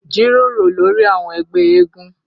Jíròrò lórí àwọn ẹgbẹ́ eégún